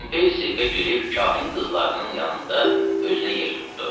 Pompey sirkə girib kahin qızlarının yanında özünə yer tutdu.